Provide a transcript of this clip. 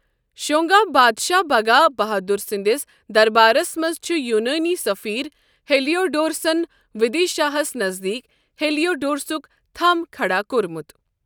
شونگا بادشاہ بھگا بھادُر سنٛدِس دربارَس منٛز چھُ یونٲنی سٔفیٖر ہیلیوڈورسَن ودیشا ہَس نزدیٖک ہیلیوڈورسُک تھَم کھڑا کوٚرمُت۔